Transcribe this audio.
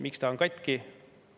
Miks ta on katki?